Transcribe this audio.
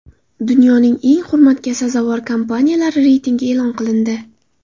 Dunyoning eng hurmatga sazovor kompaniyalari reytingi e’lon qilindi.